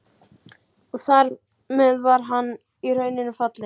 Og þar með var hann í rauninni fallinn.